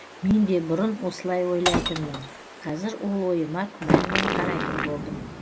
мен де бұрын осылай ойлайтынмын қазір ол ойыма күмәнмен қарайтын болдым